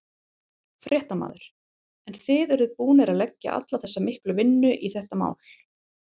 Fréttamaður: En þið eruð búnir að leggja alla þessa miklu vinnu í þetta mál?